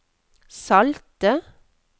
salte